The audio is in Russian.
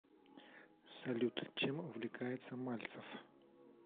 салют чем увлекается мальцев